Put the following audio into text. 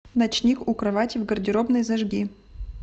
ночник у кровати в гардеробной зажги